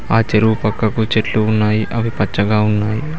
ఆ చెరువు పక్కకు చెట్లు ఉన్నాయి అవి పచ్చగా ఉన్నాయి.